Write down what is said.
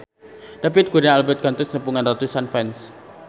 David Kurnia Albert kantos nepungan ratusan fans